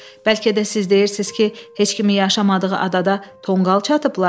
Bəlkə də siz deyirsiz ki, heç kimin yaşamadığı adada tonqal çatıblar?